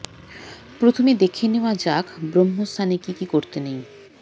প্রথমে দেখে নেওয়া যাক ব্রহ্মস্থানে কি কি করতে নেই